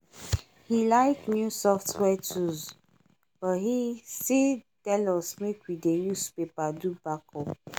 he like new software tools but he still tell us make we dey use paper do backup